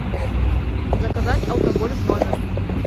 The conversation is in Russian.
заказать алкоголь в номер